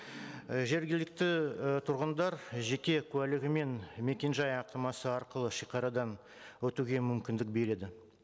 і жергілікті і тұрғындар жеке куәлігімен мекен жай анықтамасы арқылы шегарадан өтуге мүмкіндік береді